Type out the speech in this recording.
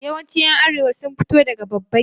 Yawancin ’yan Arewa sun fito daga babban gida.